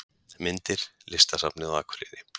Myndir: Listasafnið á Akureyri